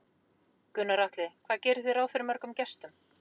Gunnar Atli: Hvað gerið þið ráð fyrir mörgum gestum?